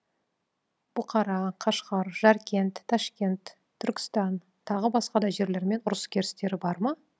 бұқара қашғар жәркент ташкент түркістан тағы басқа да жерлермен ұрыс керістері бар ма